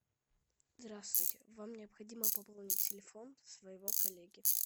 здравствуйте вам необходимо пополнить телефон своего коллеги